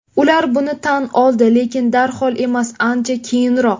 Ular buni tan oldi, lekin darhol emas, ancha keyinroq.